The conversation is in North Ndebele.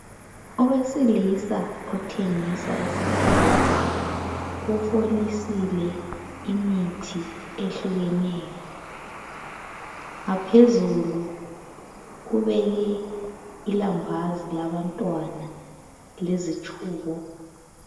Owesilisa othengisa esitolo ufolisile imithi ehlukeneyo. Ngaphezulu ubeke ilambazi labantwana lezitshubo.